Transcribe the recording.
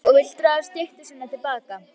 Hún skrifar og vill draga styttu sína til baka.